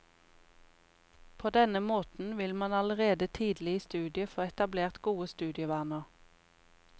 På denne måten vil man allerede tidlig i studiet få etablert gode studievaner.